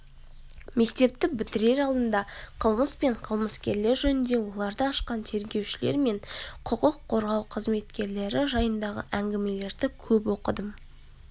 мектепті бітірер алдында қылмыс пен қылмыскерлер жөнінде оларды ашқан тергеушілер мен құқық қорғау қызметкерлері жайындағы әңгімелерді көп оқыдым